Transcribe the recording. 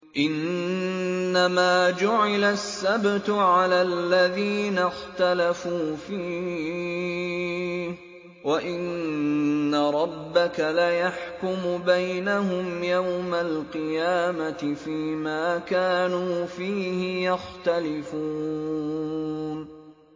إِنَّمَا جُعِلَ السَّبْتُ عَلَى الَّذِينَ اخْتَلَفُوا فِيهِ ۚ وَإِنَّ رَبَّكَ لَيَحْكُمُ بَيْنَهُمْ يَوْمَ الْقِيَامَةِ فِيمَا كَانُوا فِيهِ يَخْتَلِفُونَ